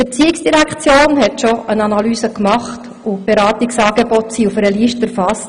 Die ERZ hat schon eine Analyse gemacht, und die Beratungsangebote auf einer Liste erfasst.